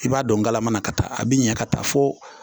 I b'a dɔn galama na ka taa a bi ɲɛ ka taa fo